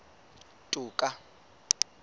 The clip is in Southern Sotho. toka